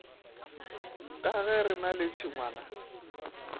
ka gere na le tšhengwana